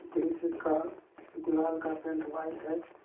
दृश्य का दीवाल का पेंट व्हाइट है।